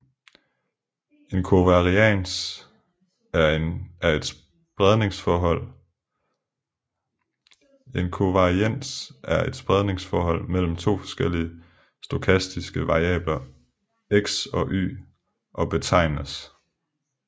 En kovarians er et spredningsforhold mellem to forskellige stokastiske variabler X og Y og betegnes